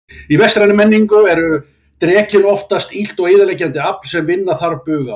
Í vestrænni menningu er drekinn oftast illt og eyðileggjandi afl sem vinna þarf bug á.